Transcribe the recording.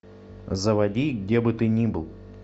заводи где бы ты ни был